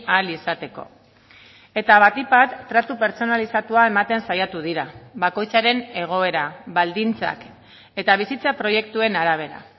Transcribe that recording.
ahal izateko eta batik bat tratu pertsonalizatua ematen saiatu dira bakoitzaren egoera baldintzak eta bizitza proiektuen arabera